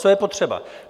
Co je potřeba?